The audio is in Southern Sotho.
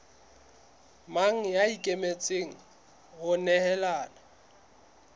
mang ya ikemiseditseng ho nehelana